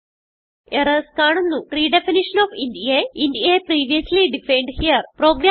errors കാണുന്നു redefinition of int a int a previously defined here